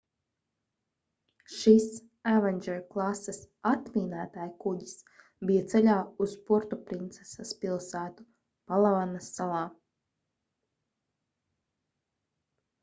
šis avenger klases atmīnētājkuģis bija ceļā uz puertoprinsesas pilsētu palavanas salā